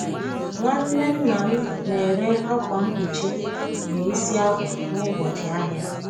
Nwanne nna m na-ere akwa mkpuchi na isi akwa n’ụbọchị ahịa.